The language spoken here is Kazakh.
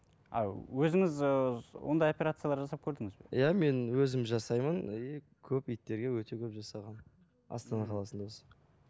а өзіңіз ыыы ондай оперциялар жасап көрдіңіз бе иә мен өзім жасаймын и көп иттерге өте көп жасағанмын астана қаласында осы